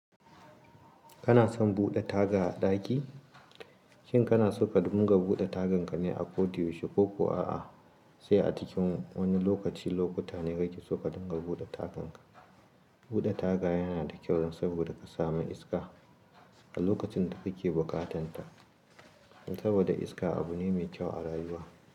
Kana son bude taga a daki? Shin kana so ka dinga bude tagan ka ne a koda yaushe koko a'a sai a cikin wani lokaci lokuta ne kake so ka dinga bude tagan ka. Bude taga yana da kyau saboda ka samu iska a lokacin da kake bukatan ta saboda iska abu ne mai kyau a rayuwa.